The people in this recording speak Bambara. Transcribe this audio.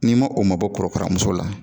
N'i ma o mabɔ korokaramuso la